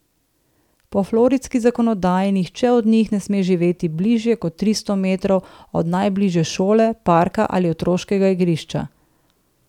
Po floridski zakonodaji nihče od njih ne sme živeti bližje kot tristo metrov od najbližje šole, parka ali otroškega igrišča.